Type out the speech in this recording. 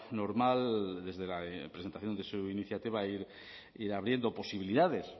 normal desde la presentación de su iniciativa ir abriendo posibilidades